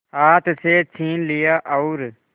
हाथ से छीन लिया और